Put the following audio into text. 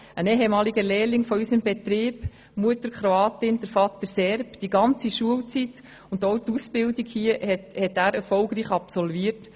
Ein ehemaliger Lehrling aus unserem Betrieb – Mutter Kroatin, Vater Serbe – hat die ganze Schulzeit und auch die Ausbildung erfolgreich absolviert.